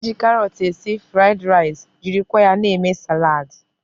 E ji karọt esi fụraịd rice jirikwa ya eme saladị.